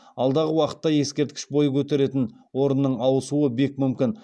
алдағы уақытта ескерткіш бой көтеретін орынның ауысуы бек мүмкін